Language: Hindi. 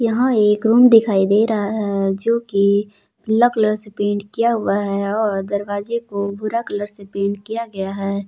यहां एक रूम दिखाई दे रहा है जो की पीला कलर से पेंट किया हुआ है और दरवाजे को भूरा कलर से पेंट किया गया है।